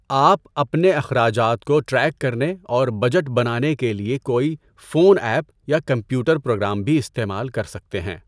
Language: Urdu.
آپ اپنے اخراجات کو ٹریک کرنے اور بجٹ بنانے کے لیے کوئی فون ایپ یا کمپیوٹر پروگرام بھی استعمال کر سکتے ہیں۔